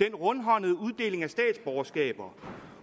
den rundhåndede uddeling af statsborgerskaber